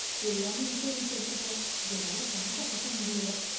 தெரியாம இன்சூரன்ஸ் எடுத்துட்டேன் என்னால பணத்தை கட்ட முடியல